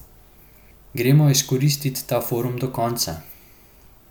Gremo izkoristit ta forum do konca.